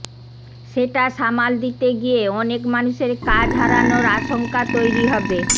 সেটা সামাল দিতে গিয়ে অনেক মানুষের কাজ হারানোর আশঙ্কা তৈরি হবে